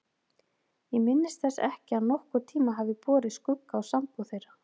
Ég minnist þess ekki að nokkurn tíma hafi borið skugga á sambúð þeirra.